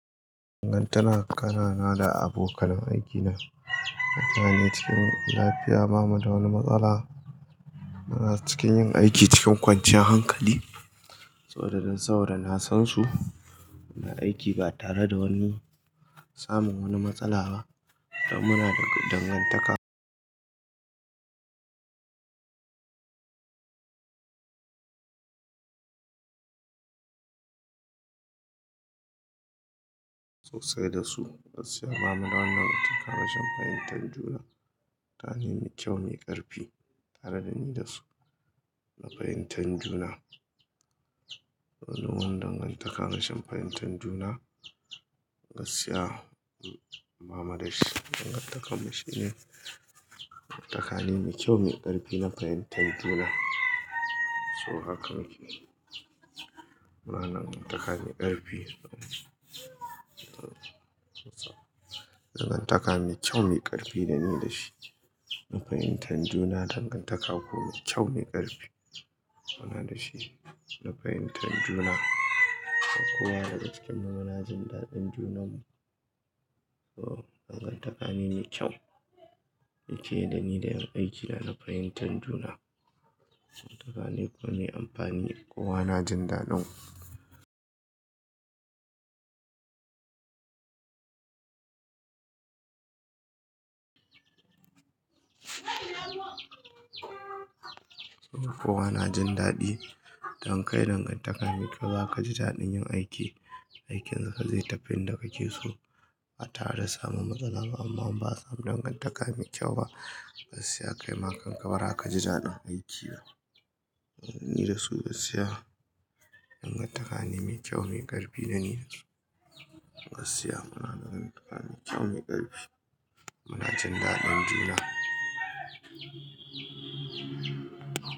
Dangantaka na da abokanan aikina. Ta ne cikin lafiya, ba mu da wani matsala. Muna cikin yin aiki cikin kwanciyar hankali saboda don saboda na san su. Muna aiki ba tare da wani samun wani matsala ba. Don muna dangantaka sosai da su. Gaskiya, ba mu da wani dangantaka rashin fahimtar juna. Ta ne mai kyau, mai ƙarfi tare da ni da su na fahimtar juna. Wani wani dangantaka rashin fahimtar juna, gaskiya bamu da shi. Dangantakar mu shine dangantakane mai kyau, mai ƙarfi na fahimtar juna. So hakan yake. Muna da dangantaka mai ƙarfi. Dangantaka mai kyau, mai ƙarfi dani da shi na fahimtar juna. Dangantaka kuma kyau, mai ƙarfi muna dashi na fahimtar juna. Kowa daga cikin mu muna jin daɗin juna mu. So dangantaka ne mai kyau yake da ni da ƴan aikina na fahimtar juna. Dangantaka ne kuma mai amfani kowa na jin daɗin. Kowa na jin daɗi. Idan kai dangantaka mai kyau za kaji daɗin yin aiki. Aikin ka zai tafi inda kake so ba tare da samun matsala ba amma in ba a samu dangantaka mai kyau ba, gaskiya kai ma kanka bzaa kaji daɗin aiki. Ni dasu gaskiya dangantaka ne mai kyau, mai ƙarfi dana dasu. Gaskiya muna da dangantaka mai kyau, mai ƙarfi. Muna jin daɗin juna.